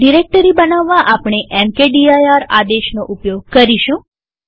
directory બનાવવા આપણે mkdir આદેશનો ઉપયોગ કરીશું